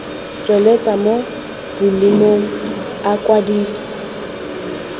tsweletswa mo bolumong a kwadilwe